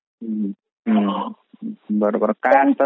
Audio not clear